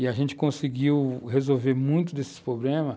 E a gente conseguiu resolver muito desses problemas,